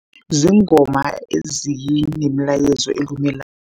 Ziingoma ezinemilayezo elumelako.